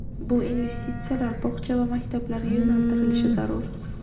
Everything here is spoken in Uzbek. bu investitsiyalar bog‘cha va maktablarga yo‘naltirilishi zarur.